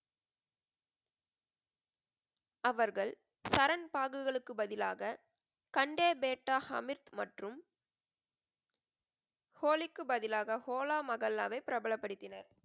அவர்கள் சரண் பாகுகளுக்கு பதிலாக கண்டே பேட்டா ஹமீத் மற்றும் ஹோலிக்கு பதிலாக ஹோலா மகல்லாவை பிரபலப்படுத்தினர்.